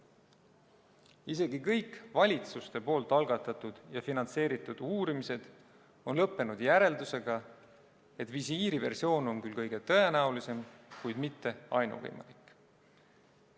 Isegi kõik valitsuste algatatud ja finantseeritud uurimised on lõppenud järeldusega, et visiiriversioon on küll kõige tõenäolisem, kuid mitte ainuvõimalik.